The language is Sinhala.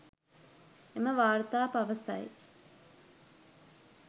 එම වාර්තා පවසයි